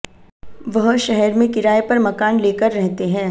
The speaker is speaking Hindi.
वह शहर में किराये पर मकान लेकर रहते हैं